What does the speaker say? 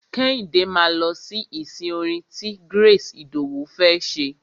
Kẹ́hìndé máa lọ sí ìsìn orin ti Grace Idowu fẹ́ ṣe.